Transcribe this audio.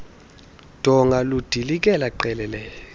donga ludilikele qelele